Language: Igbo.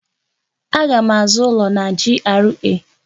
Aga m azụ ụlọ na GRA.